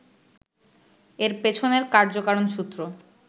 এর পেছনের কার্য-কারণ সূত্র